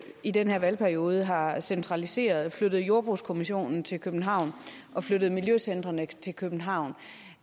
i den her valgperiode har har centraliseret flyttet jordbrugskommissionen til københavn og flyttet miljøcentrene til københavn